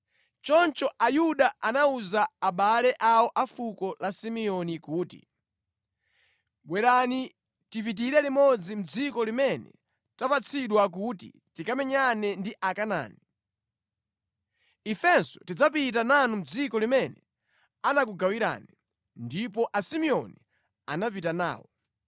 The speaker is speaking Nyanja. Choncho Ayuda anawuza abale awo a fuko la Simeoni kuti, “Bwerani tipitire limodzi mʼdziko limene tapatsidwa kuti tikamenyane ndi Akanaani. Ifenso tidzapita nanu mʼdziko limene anakugawirani.” Ndipo Asimeoni anapita nawo.